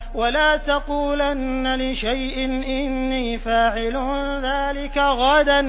وَلَا تَقُولَنَّ لِشَيْءٍ إِنِّي فَاعِلٌ ذَٰلِكَ غَدًا